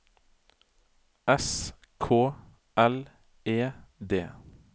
S K L E D